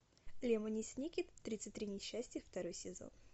лемони сникет тридцать три несчастья второй сезон